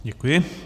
Děkuji.